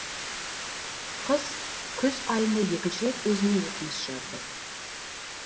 қыз күз айында екінші рет өзіне өтініш жазды